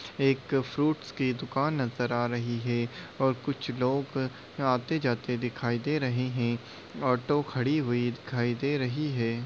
एक फ्रूट्स की दुकान नजर आ रही है और कुछ लोग आते जाते दिखाई दे रहे है ऑटो खड़ी हुई दिखाई दे रही है।